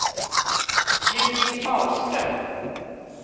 Judit Ahlström